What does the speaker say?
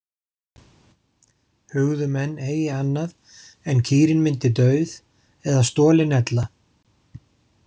Hugðu menn eigi annað en kýrin myndi dauð eða stolin ella.